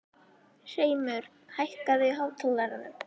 Hreimur, hækkaðu í hátalaranum.